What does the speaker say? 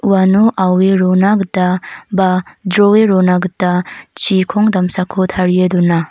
uano aue rona gita ba jroe rona gita chikong damsako tarie dona.